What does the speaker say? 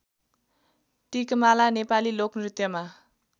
Tikmala Nepali लोकनृत्यमा